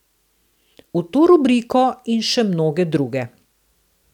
V to rubriko in še mnoge druge.